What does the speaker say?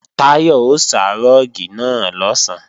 Táyọ̀ ó sá rúùgì náà lọ̀sán